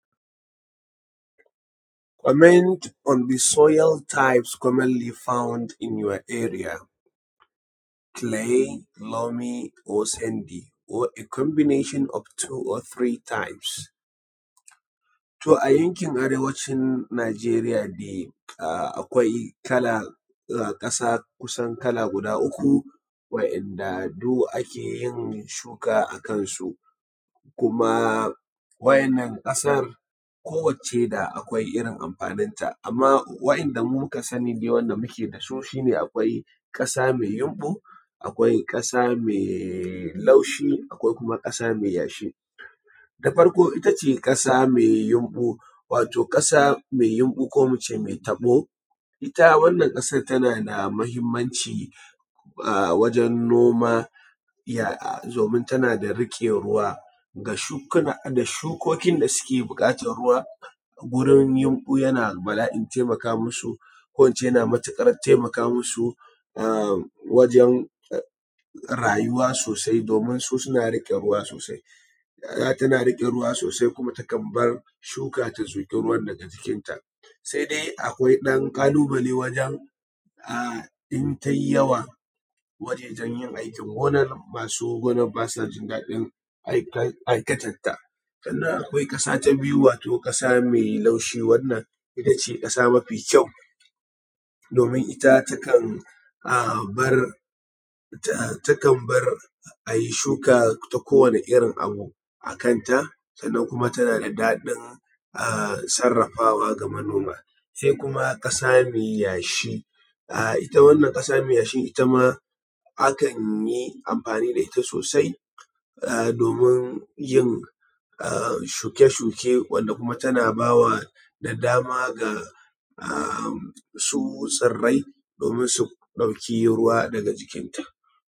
Comment on the soil types commonly found in your area. Clay, loamy or sandy, or a combination of two or three types. To a yankin arewacin Najeriya dai akwai ƙasa kusan kala guda uku wa'inda duk ake yin shuka a kan su, kuma wa'innan ƙasan kowacce da akwai irin amfaninta, amma wa'inda mu muka sani dai wanda muke da su shi ne akwai ƙasa mai yamɓu, akwai ƙasa mai laushi, akwai kuma ƙasa mai yashi. Na farko ita ce ƙasa mai yamɓu, wato ƙasa mai yamɓu ko mu ce mai taɓo, ita wannan kasar ta na da muhimmanci wajan noma domin ta na da riƙe ruwa ga shukokin da suke buƙatan ruwa. Gurin yamɓu ya na bala’in taimaka masu, ko in ce ya na matuƙar taimaka masu wajan rayuwa sosai domin su suna riƙe ruwa sosai, don tana riƙe ruwa sosai kuma takan bar shuka ta zuƙi ruwan daga jikinta. Sai dai akwai ɗan ƙalubale wajan in ta yi yawa wajejan yin aikin gonar, masu gonan ba sa jin daɗin aikatanta. Sannan akwai ƙasa ta biyu wato ƙasa mai laushi, wannan ita ce ƙasa mafi kyau domin ita takan bar a yi shuka ta kowane irin abu a kanta, sannan kuma ta na da daɗin sarafawa ga manoma. Sai kuma ƙasa mai yashi ita wannan ƙasa mai yashi akan yi amfani da ita sosai domin yin shuke shuke, wanda kuma ta na ba da dama ga tsirai domin su ɗauki ruwa daga jikinta.